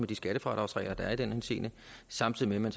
de skattefradragsregler der er i den henseende samtidig med